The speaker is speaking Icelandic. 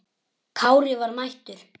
Kári var mættur!